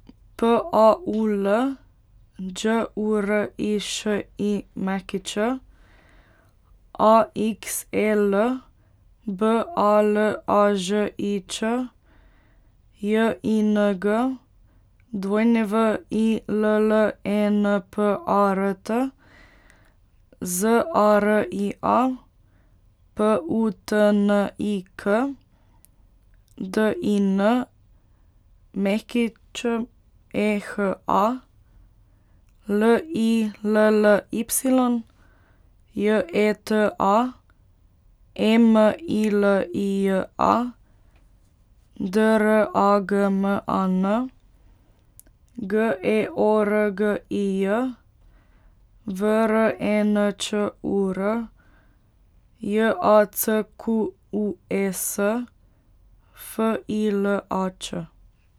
P A U L, Đ U R I Š I Ć; A X E L, B A L A Ž I Č; J I N G, W I L L E N P A R T; Z A R I A, P U T N I K; D I N, Ć E H A; L I L L Y, J E T A; E M I L I J A, D R A G M A N; G E O R G I J, V R E N Č U R; J A C Q U E S, F I L A Č.